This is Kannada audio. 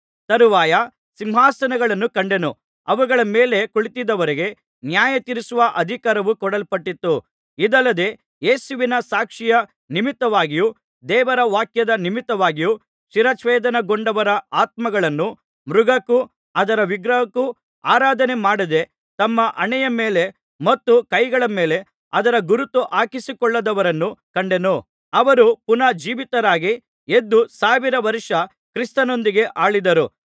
ತರುವಾಯ ಸಿಂಹಾಸನಗಳನ್ನು ಕಂಡೆನು ಅವುಗಳ ಮೇಲೆ ಕುಳಿತಿದ್ದವರಿಗೆ ನ್ಯಾಯ ತೀರಿಸುವ ಅಧಿಕಾರವು ಕೊಡಲ್ಪಟ್ಟಿತು ಇದಲ್ಲದೆ ಯೇಸುವಿನ ಸಾಕ್ಷಿಯ ನಿಮಿತ್ತವಾಗಿಯೂ ದೇವರ ವಾಕ್ಯದ ನಿಮಿತ್ತವಾಗಿಯೂ ಶಿರಚ್ಛೇದನಗೊಂಡವರ ಆತ್ಮಗಳನ್ನೂ ಮೃಗಕ್ಕೂ ಅದರ ವಿಗ್ರಹಕ್ಕೂ ಆರಾಧನೆ ಮಾಡದೇ ತಮ್ಮ ಹಣೆಯ ಮೇಲೆ ಮತ್ತು ಕೈಗಳ ಮೇಲೆ ಅದರ ಗುರುತು ಹಾಕಿಸಿಕೊಳ್ಳದವರನ್ನೂ ಕಂಡೆನು ಅವರು ಪುನಃ ಜೀವಿತರಾಗಿ ಎದ್ದು ಸಾವಿರ ವರ್ಷ ಕ್ರಿಸ್ತನೊಂದಿಗೆ ಆಳಿದರು